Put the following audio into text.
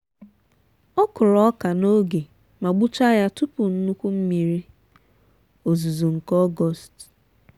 ọ kụrụ ọka n'oge ma gbuchaa ya tupu nnukwu mmiri ozuzo nke ọgọst.